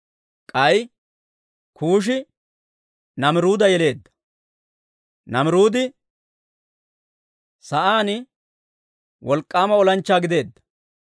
K'ay Kuushi Naamiruuda yeleedda. Naamiruudi sa'aan wolk'k'aama olanchchaa gideedda.